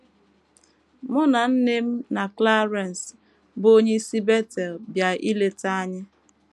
Mụ na nne m na Clarence, bụ́ onye si Betel bịa ileta anyị